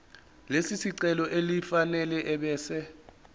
lesicelo elifanele ebese